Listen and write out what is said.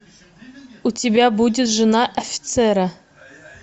у тебя будет жена офицера